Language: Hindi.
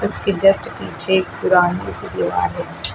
इसके जस्ट पीछे एक पुरानी सी दीवाल है।